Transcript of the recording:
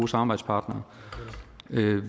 samarbejdspartnere